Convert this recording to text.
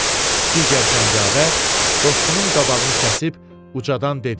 Bu vaxt digər cəngavər dostunun qabağını kəsib ucadan dedi: